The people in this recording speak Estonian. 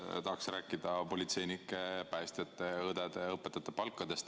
Ma tahaksin rääkida politseinike, päästjate, õdede ja õpetajate palkadest.